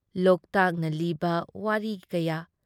ꯂꯣꯛꯇꯥꯛꯅ ꯂꯤꯕ ꯋꯥꯔꯤ ꯀꯌꯥ ꯫